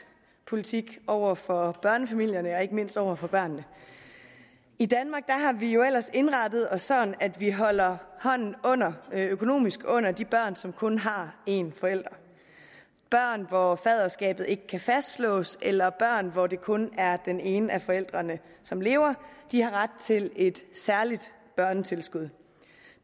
politik over for børnefamilierne og ikke mindst over for børnene i danmark har vi jo ellers indrettet os sådan at vi holder hånden økonomisk under de børn som kun har en forælder børn hvor faderskabet ikke kan fastslås eller børn hvor det kun er den ene af forældrene som lever de har ret til et særligt børnetilskud